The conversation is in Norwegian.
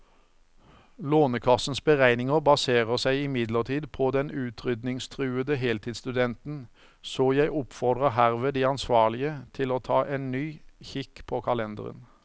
Lånekassens beregninger baserer seg imidlertid på den utryddingstruede heltidsstudenten, så jeg oppfordrer herved de ansvarlige til å ta en ny kikk på kalenderen.